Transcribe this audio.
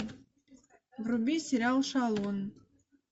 вруби сериал шалун